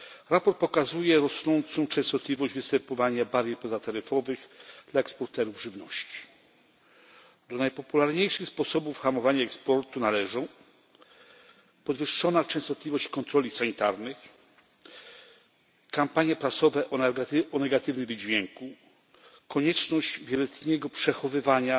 Raport pokazuje rosnącą częstotliwość występowania barier pozataryfowych dla eksporterów żywności. Do najpopularniejszych sposobów hamowania eksportu należą podwyższona częstotliwość kontroli sanitarnych, kampanie prasowe o negatywnym wydźwięku, konieczność wieloletniego przechowywania